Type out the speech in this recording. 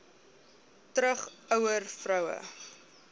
terug ouer vroue